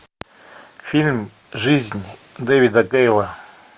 фильм жизнь дэвида гейла